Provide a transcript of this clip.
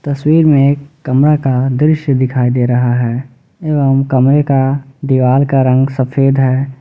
तस्वीर में एक कमरा का दृश्य दिखाई दे रहा है एवं कमरे का दीवार का रंग सफेद है ।